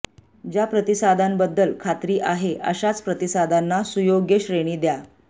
ज्या प्रतिसादांबद्दल खात्री आहे अशाच प्रतिसादांना सुयोग्य श्रेणी द्या